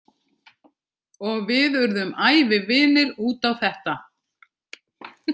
Og við urðum ævivinir út á þetta.